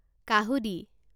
কাহুঁদি